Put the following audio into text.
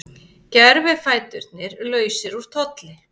Gervifæturnir lausir úr tolli